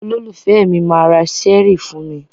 Olólùfẹ́ mi máa ra ṣẹ́ẹ́rì fún mi.